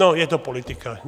No, je to politika.